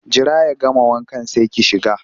Jira ya gama wankan sai ki shiga!